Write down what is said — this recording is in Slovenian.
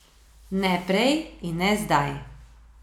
Ne prej in ne zdaj.